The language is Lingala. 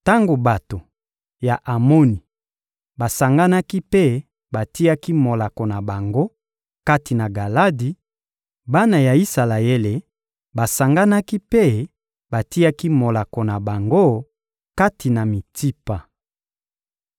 Tango bato ya Amoni basanganaki mpe batiaki molako na bango kati na Galadi, bana ya Isalaele basanganaki mpe batiaki molako na bango kati na Mitsipa.